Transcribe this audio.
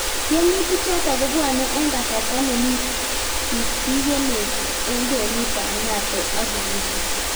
Tiemutik chotok kobwanee eng kasarta nemii tiktiknet eng kwenut ap NATO ak Urusi